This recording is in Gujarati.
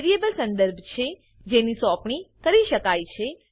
વેરિયેબલ સંદર્ભ છે જેની સોંપણી કરી શકાય છે